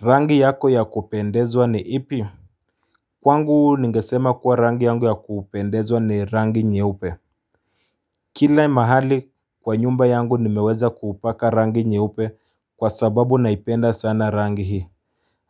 Rangi yako ya kupendezwa ni ipi? Kwangu ningesema kuwa rangi yangu ya kupendezwa ni rangi nyeupe kila mahali kwa nyumba yangu nimeweza kupaka rangi nyeupe kwa sababu naipenda sana rangi hii